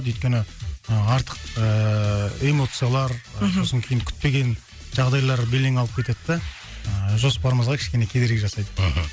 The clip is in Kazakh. өйткені ы артық ыыы эмоциялар ы мхм сосын кейін күтпеген жағдайлар белең алып кетеді да жоспарымызға кішкене кедергі жасайды мхм